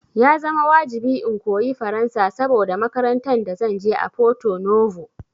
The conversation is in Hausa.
Ya zama wajibi in koyi Faransa saboda makarantan da zanje a Porto Novo